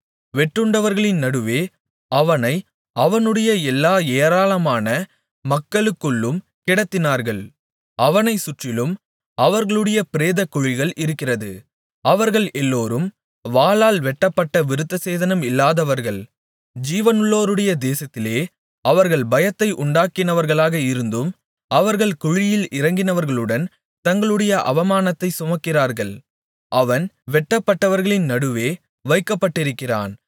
வெட்டுண்டவர்களின் நடுவே அவனை அவனுடைய எல்லா ஏராளமான மக்களுக்குள்ளும் கிடத்தினார்கள் அவனைச் சுற்றிலும் அவர்களுடைய பிரேதக்குழிகள் இருக்கிறது அவர்கள் எல்லோரும் வாளால் வெட்டப்பட்ட விருத்தசேதனம் இல்லாதவர்கள் ஜீவனுள்ளோருடைய தேசத்திலே அவர்கள் பயத்தை உண்டாக்கினவர்களாக இருந்தும் அவர்கள் குழியில் இறங்கினவர்களுடன் தங்களுடைய அவமானத்தைச் சுமக்கிறார்கள் அவன் வெட்டப்பட்டவர்களின் நடுவே வைக்கப்பட்டிருக்கிறான்